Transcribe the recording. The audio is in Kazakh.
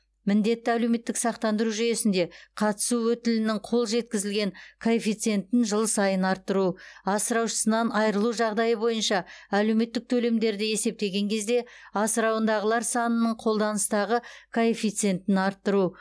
міндетті әлеуметтік сақтандыру жүйесінде қатысу өтілінің қол жеткізілген коэффициентін жыл сайын арттыру асыраушысынан айырылу жағдайы бойынша әлеуметтік төлемдерді есептеген кезде асырауындағылар санының қолданыстағы коэффициентін арттыру